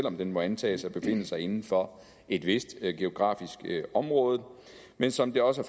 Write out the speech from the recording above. om den må antages at befinde sig inden for et vist geografisk område men som det også